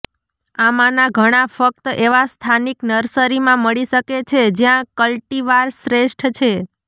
આમાંના ઘણા ફક્ત એવા સ્થાનિક નર્સરીમાં મળી શકે છે જ્યાં કલ્ટીવાર શ્રેષ્ઠ છે